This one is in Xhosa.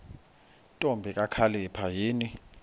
ntombi kakhalipha yini